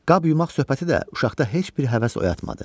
Qab yumaq söhbəti də uşaqda heç bir həvəs oyatmadı.